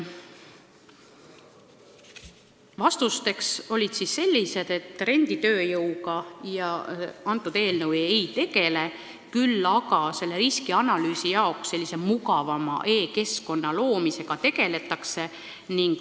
Vastused olid sellised, et renditööjõudu see eelnõu ei käsitle, kuid riskianalüüsi jaoks sellise mugavama e-keskkonna loomisega tegeldakse.